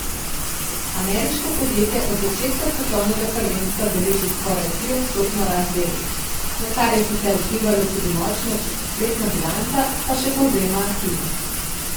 Ameriško podjetje od začetka svetovnega prvenstva beleži skoraj triodstotno rast delnic, na kar je sicer vplivalo tudi močno četrtletna bilanca, še povzema Hina.